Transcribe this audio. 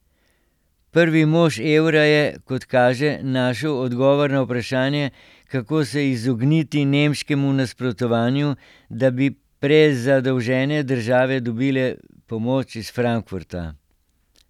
Prvi mož evra je, kot kaže, našel odgovor na vprašanje, kako se izogniti nemškemu nasprotovanju, da bi prezadolžene države dobile pomoč iz Frankfurta.